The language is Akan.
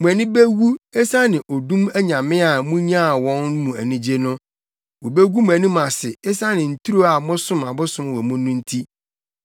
“Mo ani bewu, esiane odum anyame a munyaa wɔn mu anigye no; wobegu mo anim ase, esiane nturo a mosom abosom wɔ mu no nti.